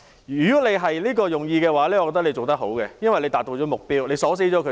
如果你是這樣想的話，你做得很好，因為已達到了目的，鎖死了他們。